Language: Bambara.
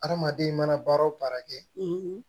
Hadamaden mana baara o baara kɛ